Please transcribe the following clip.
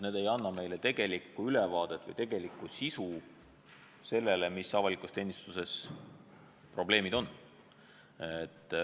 Need ei anna meile tegelikku ülevaadet, mis probleemid avalikus teenistuses on.